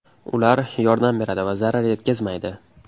Ular yordam beradi va zarar yetkazmaydi.